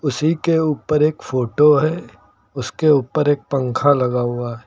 उसी के ऊपर एक फोटो है उसके ऊपर एक पंखा लगा हुआ है।